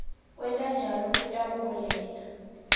kwenta njalo kutawuholela